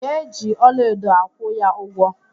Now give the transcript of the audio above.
Ị ga-eji ọlaedo akwụ ya ụgwọ?